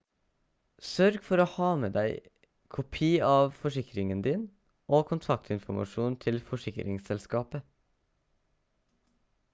sørg for å ha med deg kopi av forsikringen din og kontaktinformasjon til forsikringsselskapet